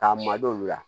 K'a madon u la